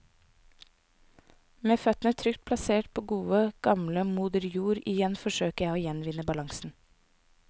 Med føttene trygt plassert på gode, gamle moder jord igjen forsøker jeg å gjenvinne balansen.